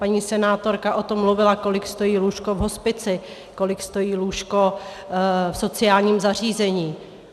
Paní senátorka o tom mluvila, kolik stojí lůžko v hospici, kolik stojí lůžko v sociálním zařízení.